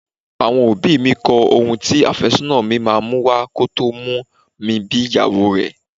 Àwọn òbí mi kọ ohun tí afésónà mi máa mú wá kò tó mú mi bí ìyàwó rẹ.